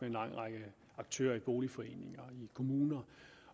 en lang række aktører i boligforeninger og i kommuner